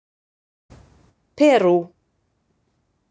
Perú